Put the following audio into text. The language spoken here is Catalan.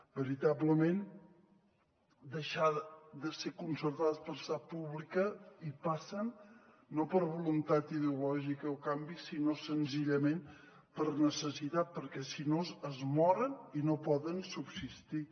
veritablement deixar de ser concertada per passar a pública hi passen no per voluntat ideològica o canvi sinó senzillament per necessitat perquè si no es moren i no poden subsistir